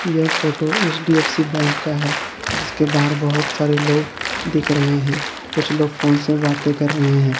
यह photo HDFC bank का है जिसके बाहर बहुत सारे लोग दिख रहे है कुछ लोग फोन से बाते कर रहे हैं।